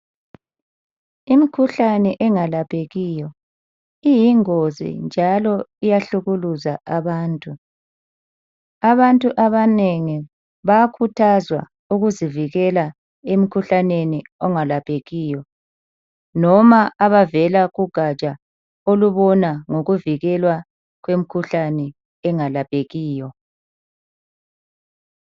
Imikhuhlane engalaphekiyo iyingozi njalo iyahlukuluza abantu. Abantu abanengi bayakhuthazwa ukuzivikela emikhuhlaneni ongalephekiyo noma abavela kugatsha olubona ngokuvikelwa kwemkhuhlane engalaphekiyo.